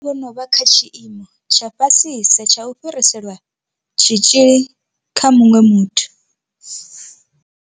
Vha vha vho no vha kha tshiimo tsha fhasisa tsha u fhirisela tshitzhili kha muṅwe muthu.